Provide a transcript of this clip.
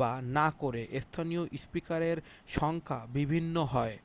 বা না করে স্থানীয় স্পিকারের সংখ্যা বিভিন্ন হয়